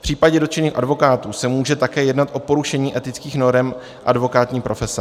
V případě dotčených advokátů se může také jednat o porušení etických norem advokátní profese.